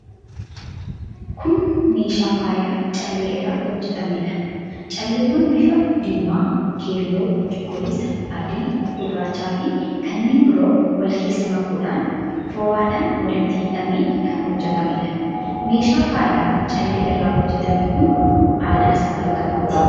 Kun meeshaal faayaa callee irraa hojjetameedha. Calleewwan bifa diimaa, keelloo, cuquliisa, adii, gurraachaafi kanneen biroo wal keessa makuudhaan fo'aadhaan walitti hidhamee kan hojjetameedha. Meeshaan faayaa callee irraa hojjetame kun aadaa saba kamiiti?